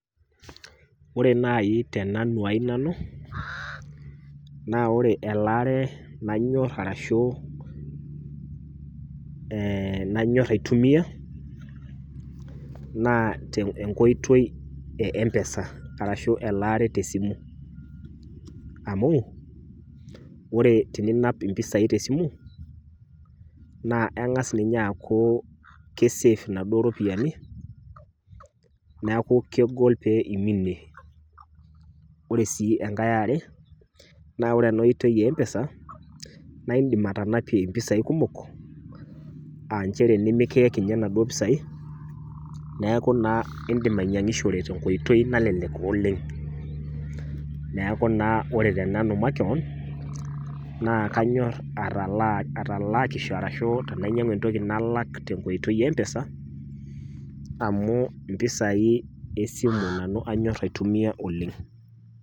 Ore nai tenanu ai nanu naa ore elaare nanyor arashu nanyor aitumia naa enkoitoi e mpesa arashu elaare te simu amu ore teninap impisai tesimu naa engas ninye aaku kisafe inaduo ropiyiani niaku kegol iminie. Ore sii enkae eare, naa ore ena oitoi empesa naa indim atanapie impisai kumok aa nchere nimikiyek ninye inaduo pisai , niaku naa indim ainyiangishore tenkoitoi nalelek oleng . Neeku naa ore tenanu makewon naa kanyor atalaa , atalakisho arashu tenainyiangu entoki nalak tenkoitoi empesa amu impisai esimu nanu anyor aitumia oleng.